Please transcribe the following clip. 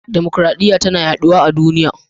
Dimukraɗiya tana yaduwa a duniya.